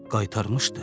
Qaytarmışdı.